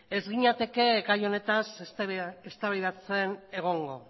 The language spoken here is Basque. ez ginateke gai honetaz eztabaidatzen egongo